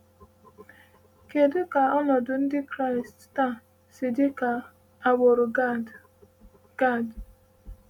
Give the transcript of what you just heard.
“Kedu ka ọnọdụ Ndị Kraịst taa si dị ka nke agbụrụ Gad?” Gad?”